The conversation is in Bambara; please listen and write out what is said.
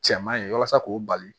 Cɛman ye walasa k'o bali